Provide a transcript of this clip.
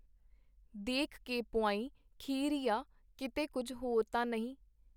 ਦੇਖ ਕੇ ਪੁਆਂਈ ਖੀਰ ਈ ਆ, ਕੀਤੇ ਕੁੱਝ ਹੋਰ ਤਾਂ ਨਹੀਂ?”.